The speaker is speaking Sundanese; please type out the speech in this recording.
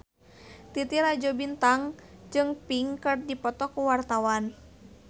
Titi Rajo Bintang jeung Pink keur dipoto ku wartawan